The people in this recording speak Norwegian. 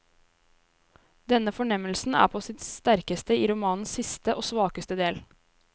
Denne fornemmelsen er på sitt sterkeste i romanens siste, og svakeste del.